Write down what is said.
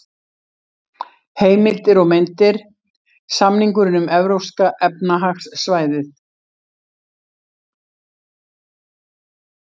Heimildir og myndir: Samningurinn um Evrópska efnahagssvæðið.